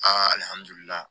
Alihamudulila